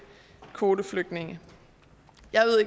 kvoteflygtninge